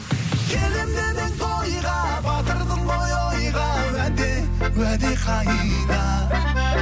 келемін деп едің тойға батырдың ғой ойға уәде уәде қайда